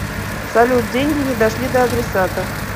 салют деньги не дошли до адресата